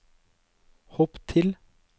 hopp til